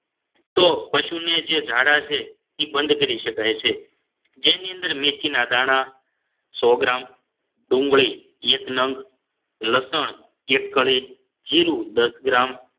તો પશુને જે ઝાડા છે એ બંધ કરી શકાય છે જેની અંદર મેથીના દાણા સો ગ્રામ ડુંગળી એક નંગ લસણ એક કળી જીરુ દસ ગ્રામ